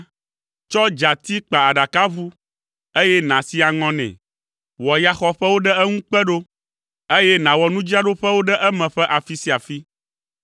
Tsɔ dzati kpa aɖakaʋu, eye nàsi aŋɔ nɛ. Wɔ yaxɔƒewo ɖe eŋu kpe ɖo, eye nàwɔ nudzraɖoƒewo ɖe eme ƒe afi sia afi.